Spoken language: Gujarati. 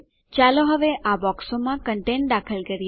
ચાલો હવે આ બોક્સોમાં કંટેંટ દાખલ કરીએ